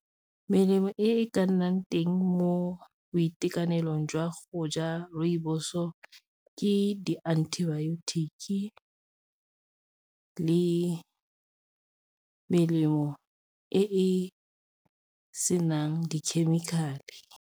Melemo e ka nnang teng mo boitekanelong jwa go ja rooibos-o, ke di-antibiotics le melemo e e senang di-chemical-e.